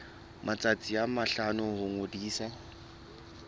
matsatsi a mahlano ho ngodisa